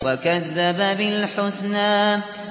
وَكَذَّبَ بِالْحُسْنَىٰ